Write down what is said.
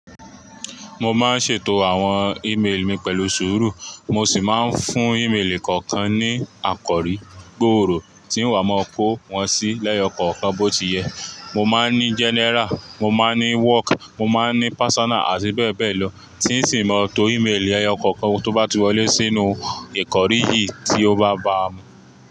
Mo máa ń ṣètò àwọn email mi pẹ̀lú sùúrù, mo sì máa ń fún emailì kọ̀ọ̀kan ní àkọrí gbòòrò tí ń wá máa kó wọn sí lẹ́yọkọ̀ọ̀kan bó ti yẹ. Mo máa ń ní general, mo máa ń ní work, mo máa ń ní personal àti bẹ́ẹ̀ bẹ́ẹ̀ lọ, tí ìsìǹ mọ to emailì ẹyọkọ̀ọ̀kan tó bá ti wọlé sínú ìkórí yìí tí ó bá ba mú.